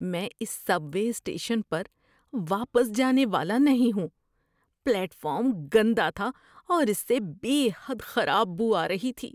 میں اس subway station پر واپس جانے والا نہیں ہوں۔ پلیٹ فارم گندا تھا اور اس سے بے حد خراب بو آ رہی تھی۔